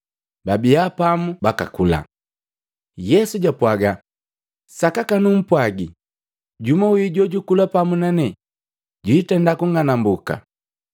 Pababia pamu bakakula, Yesu japwaga, “Sakaka numpwagi, jumu wi jojukula pamu nanee, jwindenda kunng'anambuka.”